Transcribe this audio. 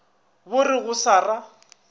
bo re go sa ra